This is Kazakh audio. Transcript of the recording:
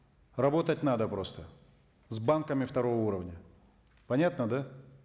работать надо просто с банками второго уровня понятно да